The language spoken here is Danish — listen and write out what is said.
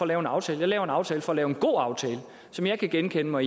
lave en aftale jeg laver en aftale for at lave en god aftale som jeg kan genkende mig